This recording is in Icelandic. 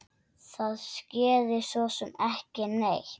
Það skeði sosum ekki neitt.